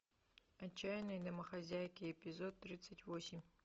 отчаянные домохозяйки эпизод тридцать восемь